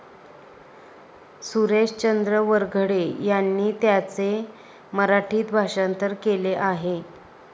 सुरेशचंद्र वरघडे यांनी त्याचे मराठीत भाषांतर केले आहे.